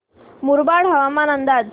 मुरबाड हवामान अंदाज